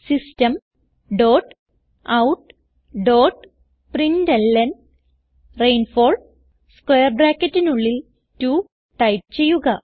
system dot out dot println rainfall square ബ്രാക്കറ്റിനുള്ളിൽ 2 type ചെയ്യുക